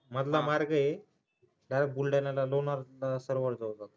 मधला मार्ग आहे तसाच बुलढाण्याला लोणार सरोवराजवळ